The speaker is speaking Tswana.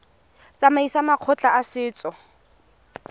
tsamaisong ya makgotla a setso